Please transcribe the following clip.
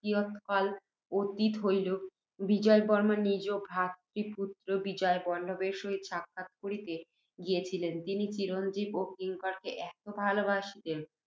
কিয়ৎকাল অতীত হইলে, বিজয়বর্ম্মা নিজ ভ্রাতৃপুত্ত্র বিজয়বল্লভের সহিত সাক্ষাৎ করিতে গিয়াছিলেন। তিনি চিরঞ্জীব ও কিঙ্করকে এত ভালবাসিতেন